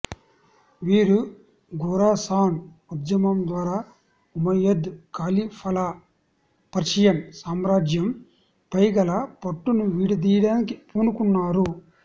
వీరు ఖురాసాన్ ఉద్యమంద్వారా ఉమయ్యద్ ఖలీఫాల పర్షియన్ సామ్రాజ్యం పైగల పట్టును విడదీయడానికి పూనుకున్నారు